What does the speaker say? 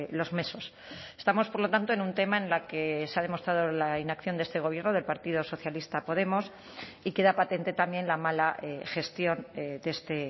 los meses estamos por lo tanto en un tema en la que se ha demostrado la inacción de este gobierno del partido socialista podemos y queda patente también la mala gestión de este